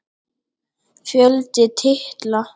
Fjöldi titla